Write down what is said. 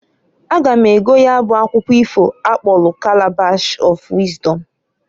A ga m ego ya bụ akwukwu ifo akpọlụ Kalabash of Wịzdọm.